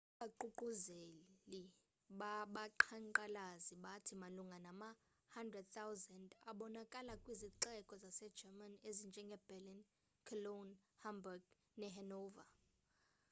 abaququzeleli babaqhankqalazi bathi malunga nama 100,000 abonakala kwizixeko zase german ezinjenge berlin cologne hamburg nehanover